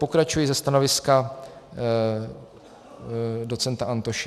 Pokračuji ze stanoviska docenta Antoše.